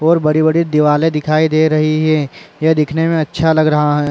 और बड़ी-बड़ी दीवाले दिखाई दे रही है यह दिखने मे अच्छा लग रहा है।